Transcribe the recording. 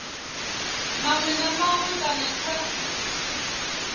maṅwe na maṅwe kana kha